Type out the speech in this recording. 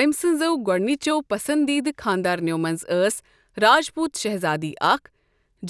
أمۍ سٕنٛزو گۄڈنِچو پسندیدٕ خانٛدارِنیٛو منٛزٕ ٲس راجپوت شہزادی اکھ،